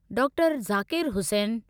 doctor Zakir Hussain